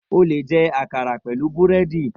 O leè jẹ àkàrà pẹ̀lú búrẹ́dì